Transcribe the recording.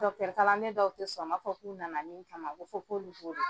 kalan den dɔw tɛ sɔn ma, u b'a fɔ k'u nana min kama ko fo k'olu'